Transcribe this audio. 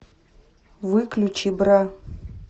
выключи бра